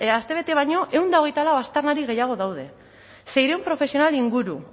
astebete baino ehun eta hogeita lau aztarnari gehiago daude seiehun profesional inguru